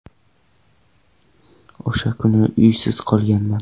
O‘sha kuni uysiz qolganman.